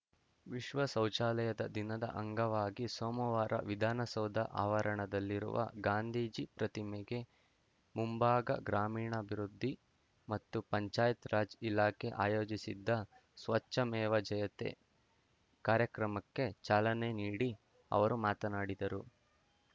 ವಿಶ್ವ ಶೌಚಾಲಯದ ದಿನದ ಅಂಗವಾಗಿ ಸೋಮವಾರ ವಿಧಾನಸೌಧ ಆವರಣದಲ್ಲಿರುವ ಗಾಂಧಿಜಿ ಪ್ರತಿಮೆಗೆ ಮುಂಭಾಗ ಗ್ರಾಮೀಣಾಭಿವೃದ್ಧಿ ಮತ್ತು ಪಂಚಾಯತ್‌ರಾಜ್‌ ಇಲಾಖೆ ಆಯೋಜಿಸಿದ್ದ ಸ್ವಚ್ಛಮೇವ ಜಯತೇ ಕಾರ್ಯಕ್ರಮಕ್ಕೆ ಚಾಲನೆ ನೀಡಿ ಅವರು ಮಾತನಾಡಿದರು